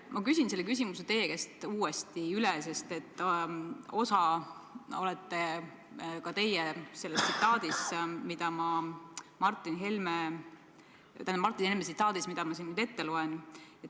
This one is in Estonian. Ma küsin sama küsimuse ka teie käest, sest ka teid puudutab Martin Helme tsitaat, mille ma siin nüüd ette loen.